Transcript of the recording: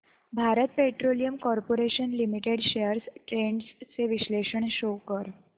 Bharat Petroleum Corporation Limited shares trends चे विश्लेषण show कर